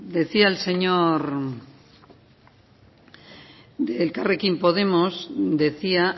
decía el señor de elkarrekin podemos decía